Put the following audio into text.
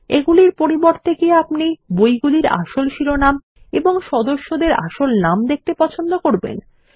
এগুলির পরিবর্তে কি আপনি বইগুলির আসল শিরোনাম এবং সদস্যদের আসল নাম দেখতে পছন্দ করবেন160